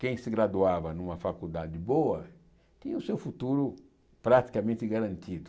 Quem se graduava numa faculdade boa, tinha o seu futuro praticamente garantido.